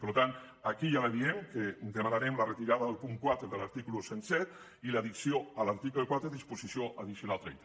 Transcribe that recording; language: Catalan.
per tant aquí ja li diem que demanarem la retirada del punt quatre de l’article cent i set i l’addició a l’article quatre disposició addicional trenta